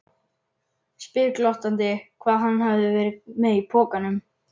Spyr glottandi hvað hann hafi verið með í pokanum.